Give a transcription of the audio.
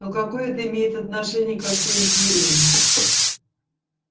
но какое это имеет отношение ко всей империи